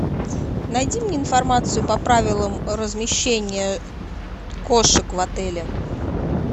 найди мне информацию по правилам размещения кошек в отеле